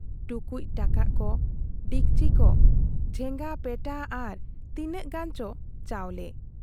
ᱴᱩᱠᱩᱡ ᱴᱟᱠᱟᱜ ᱠᱚ , ᱰᱤᱯᱪᱤ ᱠᱚ ᱡᱷᱮᱜᱟᱯᱮᱴᱟ ᱟᱨ ᱛᱤᱱᱟᱹᱜ ᱜᱟᱱᱪᱚ ᱪᱟᱣᱞᱮ ᱾